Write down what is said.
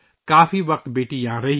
کافی وقت بیٹی یہاں رہی